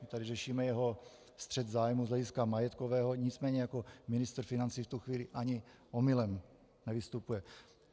My tady řešíme jeho střet zájmů z hlediska majetkového, nicméně jako ministr financí v tu chvíli ani omylem nevystupuje.